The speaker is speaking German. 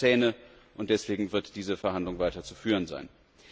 Der braucht Zähne, und deswegen wird diese Verhandlung weiter zu führen sein.